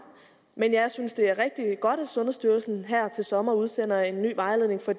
men jeg synes det er rigtig godt at sundhedsstyrelsen her til sommer udsender en ny vejledning for